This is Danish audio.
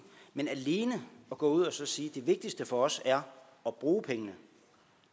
men alene at gå ud og sige at det vigtigste for os er at bruge pengene